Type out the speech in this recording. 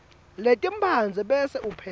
letimphandze bese upheka